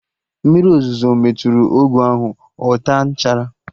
Mmiri ozuzo metụrụ ọgụ ahụ, ọ taa nchara